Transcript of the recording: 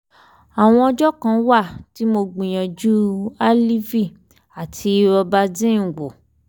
àwọn ọjọ́ kan wà tí mo gbìyànjú aleve àti robaxin wò